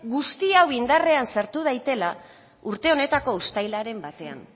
guzti hau indarrean sartu daitela urte honetako uztailaren batean